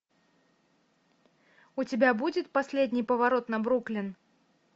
у тебя будет последний поворот на бруклин